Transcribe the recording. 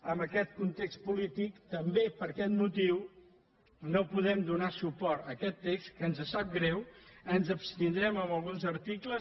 amb aquest context polític també per aquest motiu no podem donar suport a aquest text en què ens sap greu ens abstindrem en alguns articles